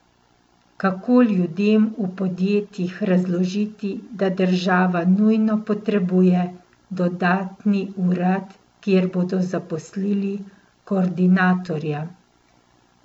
Kako ljudem v podjetjih razložiti, da država nujno potrebuje dodatni urad, kjer bodo zaposlili koordinatorja?